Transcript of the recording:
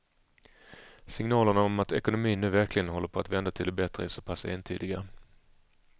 Signalerna om att ekonomin nu verkligen håller på att vända till det bättre är så pass entydiga.